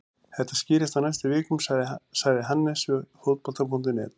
Þetta skýrist á næstu vikum, sagði Hannes við Fótbolta.net.